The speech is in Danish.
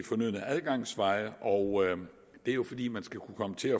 fornødne adgangsveje og det er jo fordi man skal kunne komme til